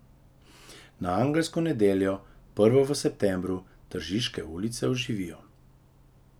Na angelsko nedeljo, prvo v septembru, tržiške ulice oživijo.